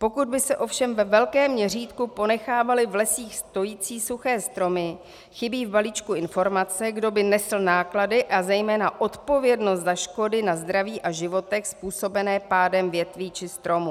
Pokud by se ovšem ve velkém měřítku ponechávaly v lesích stojící suché stromy, chybí v balíčku informace, kdo by nesl náklady a zejména odpovědnost za škody na zdraví a životech způsobené pádem větví či stromů.